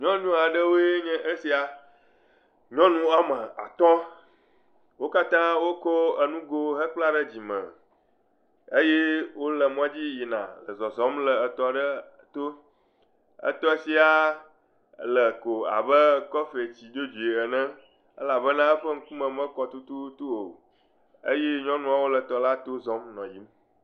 Nyɔnu aɖewoe nye esia, nyɔnu woame atɔ̃ wo katã wotsɔ nugo kpla ɖe dzime eye wole mɔdzi yina le zɔzɔm le tɔ aɖe to. Tɔ sia le ko abe kɔflati dzodzo ene elabena eme mekɔ tututu o.